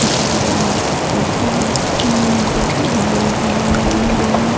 एक दीवाल पे बहुत सुन्दर डिजाइन बनाया हुआ है ।